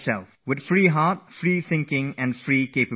Keep an open mind, think freely, and assess your own abilities